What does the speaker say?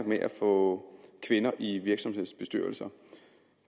med at få kvinder i virksomhedsbestyrelser